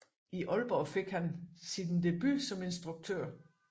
I Aalborg fik han sit debut som instruktør